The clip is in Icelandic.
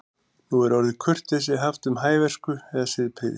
Nú er orðið kurteisi haft um hæversku eða siðprýði.